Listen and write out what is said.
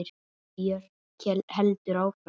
Björk heldur áfram.